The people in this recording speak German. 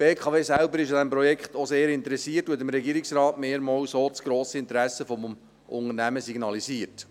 Die BKW selbst ist an diesem Projekt sehr interessiert und hat dem Regierungsrat mehrmals das grosse Interesse des Unternehmens signalisiert.